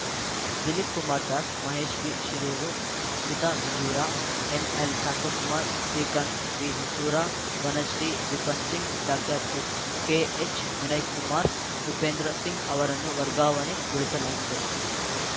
Dilip Kumar Das Mahesh ಬಿಶಿರೂರು Smita ಬಿಜೂರ ಎನ್‌ಎಲ್‌ಶಾಂತಕುಮಾರ್‌ Srikanth ವಿಹೊಸೂರ Vanashree Vipin Singh doctor H ಕೆಎಚ್‌ವಿನಯ್‌ಕುಮಾರ್‌ Upendra Singh ಅವರನ್ನು ವರ್ಗಾವಣೆಗೊಳಿಸಲಾಗಿದೆ